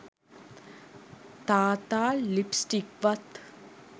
තාත්තා ලිප්ස්ටික්වත්